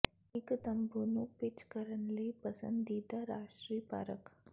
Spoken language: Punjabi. ਇੱਕ ਤੰਬੂ ਨੂੰ ਪਿੱਚ ਕਰਨ ਲਈ ਪਸੰਦੀਦਾ ਰਾਸ਼ਟਰੀ ਪਾਰਕ